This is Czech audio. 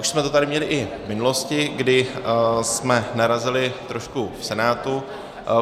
Už jsme to tady měli i v minulosti, kdy jsme narazili trošku v Senátu.